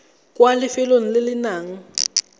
kwa lefelong le le nang